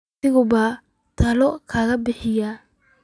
Wakhti maa buu tuulada ka baxayaa?